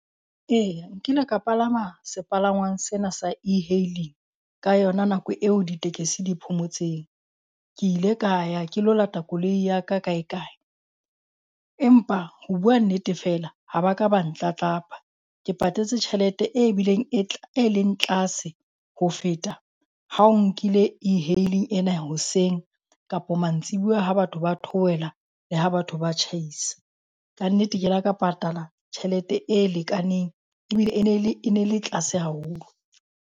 Eya nkile ka palama sepalangwang sena sa e-hailing ka yona nako eo ditekesi di phomotseng. Ke ile ka ya ke ilo lata koloi ya ka kae kae. Empa ho bua nnete feela ha ba ka ba ntlatlapa. Ke patetse tjhelete e bileng e e leng tlase ho feta ha o nkile e-hailing ena hoseng kapo mantsibuwa ha batho ba theohela le ha batho ba tjhaisa, kannete ke le ka patala tjhelete e lekaneng ebile e ne e le e ne le tlase haholo.